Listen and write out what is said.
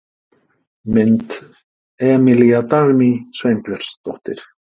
Mynd: Emilía Dagný Sveinbjörnsdóttir.